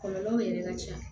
Kɔlɔlɔw yɛrɛ ka ca